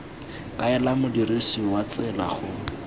kaela modirisi wa tsela go